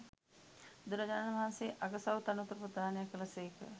බුදුරජාණන් වහන්සේ අගසවු තනතුරු ප්‍රදානය කළ සේක